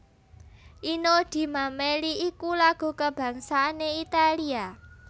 Inno di Mameli iku lagu kabangsané Italia